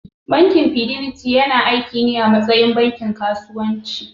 Bankin Fidelity yana aiki ne a matsayin bankin kasuwanci.